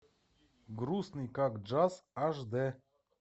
грустный как джаз аш дэ